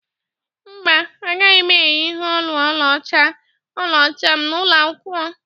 mba, A gaghị m eyị ihe olu ọlaọcha ọlaọcha m n'ụlọ akwụkwọ